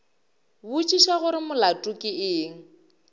botšiša gore molato ke eng